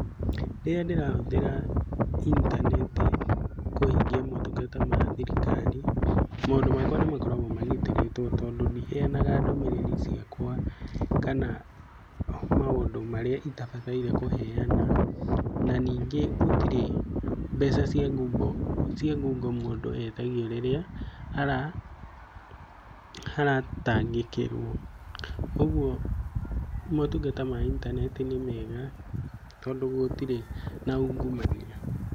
Rĩrĩa ndĩrahũthĩra intaneti kũhĩngĩa motungata ma thirikari, maũndũ makwa nĩ makoragwo magĩtĩrĩtwo tondũ ndiheanaga ndũmĩrĩrĩ ciakwa kana maũndũ marĩa itabatairie kũheana, na ningĩ gũtirĩ mbeca cia ngungo mũndũ etagio rĩrĩa aratangĩkĩrwo. Ũgũo motungata ma intaneti nĩ mega tondũ gũtĩre na ungumania.